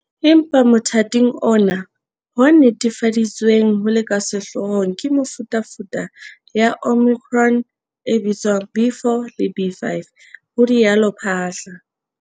"Empa motha ting ona, ho netefaditsweng ho le ka sehloohong ke mefutafuta ya Omicron e bitswang B.4 le B.5," ho rialo Phaahla.